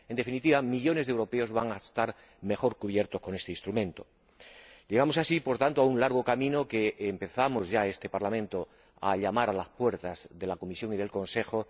En definitiva, millones de europeos van a estar mejor cubiertos con este instrumento. Llegamos así, por tanto, al final de un largo camino que empezó este Parlamento llamando a las puertas de la Comisión y del Consejo